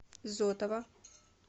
зотова